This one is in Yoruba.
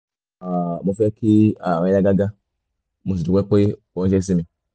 um mo fẹ́ kí ara rẹ yá gágá mo sì dúpẹ́ pé o ránṣẹ́ sí mi